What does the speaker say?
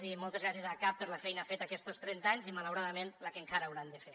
i moltes gràcies a acab per la feina feta aquestos trenta anys i malauradament la que encara hauran de fer